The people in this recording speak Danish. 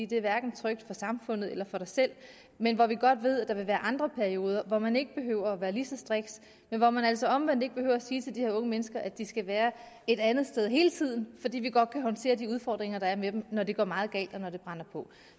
det er hverken trygt for samfundet eller for dem selv men hvor vi godt ved at der vil være andre perioder hvor man ikke behøver at være lige så striks men hvor man altså omvendt ikke behøver at sige til de her unge mennesker at de skal være en andet sted hele tiden fordi vi godt kan håndtere de udfordringer der er med dem når det går meget galt og når det brænder på